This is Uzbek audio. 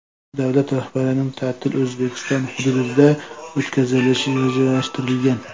Davlat rahbarining ta’tili O‘zbekiston hududida o‘tkazilishi rejalashtirilgan.